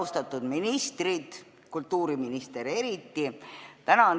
Austatud ministrid, kultuuriminister eriti!